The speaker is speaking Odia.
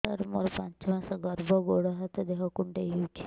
ସାର ମୋର ପାଞ୍ଚ ମାସ ଗର୍ଭ ଗୋଡ ହାତ ଦେହ କୁଣ୍ଡେଇ ହେଉଛି